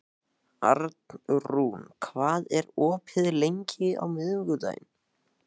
Arnrún, hvað er opið lengi á miðvikudaginn?